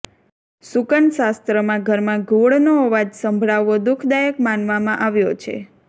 શુકન શાસ્ત્રમાં ઘરમાં ઘુવડનો અવાજ સંભળાવો દુખદાયક માનવામાં આવ્યો છે